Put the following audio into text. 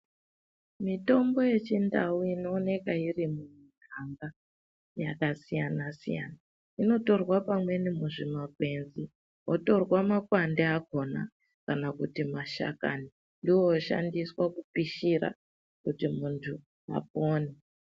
Mitombo yechindau inooneka iri mumiganda yakasiyana -siyana inotorwa pamweni muzvimakwenzi, wotorwa makwande akhona kana kuti mashakani ndiwo oshandiswa kupishira kuti munhu apone.